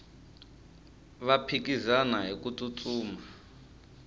va phikizana hiku tsutsuma